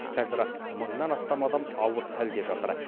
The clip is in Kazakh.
қазір мыңнан астам адам ауыр халде жатыр